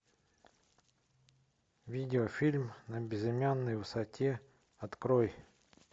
видеофильм на безымянной высоте открой